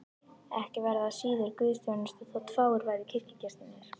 Ekki væri það síður guðsþjónusta þótt fáir væru kirkjugestirnir.